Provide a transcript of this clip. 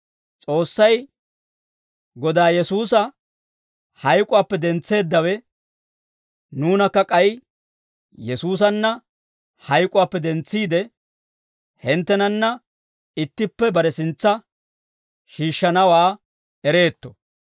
S'oossay, Godaa Yesuusa hayk'uwaappe dentseeddawe, nuunakka k'ay Yesuusanna hayk'uwaappe dentsiide, hinttenanna ittippe bare sintsa shiishshanawaa ereetto.